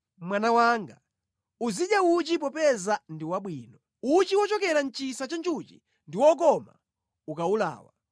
Mwana wanga, uzidya uchi popeza ndi wabwino; uchi wochokera mʼchisa cha njuchi ndi wokoma ukawulawa.